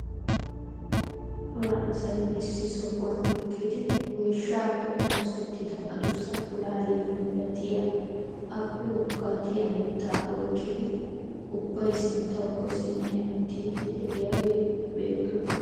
Cora asay issi sohuwaan eqqidi woyshshaa oosettida adussa pulaaliyaa milatiyaa appe woggaatiyaa mittaa oyqqidi ubbay sinttawukko simmi hemettiidi de'iyaageti beettoosona.